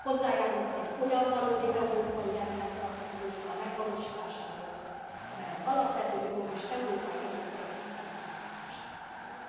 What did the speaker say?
Hozzájárulhat egy olyan valódi európai rendfenntartó kultúra megvalósításához, amely az alapvető jogok és az európai értékek tiszteletben tartásán alapul.